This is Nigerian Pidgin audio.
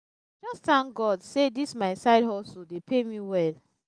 thank god say dis my side hustle dey pay me well